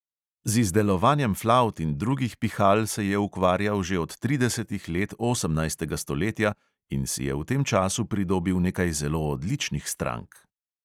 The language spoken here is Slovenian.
Z izdelovanjem flavt in drugih pihal se je ukvarjal že od tridesetih let osemnajstega stoletja in si je v tem času pridobil nekaj zelo odličnih strank.